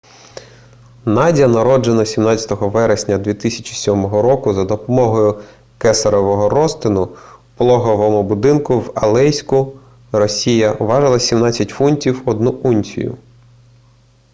надя народжена 17 вересня 2007 року за допомогою кесаревого розтину у пологовому будинку в алейську росія важила 17 фунтів 1 унцію